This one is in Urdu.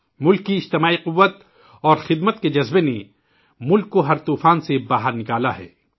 ملک کی مجموعی قوت اور خدمت کے ہمارے جذبے نے ملک کو ہر طوفان سے باہر نکالا ہے